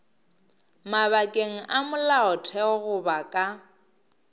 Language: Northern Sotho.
mabakeng a molaotheo goba ka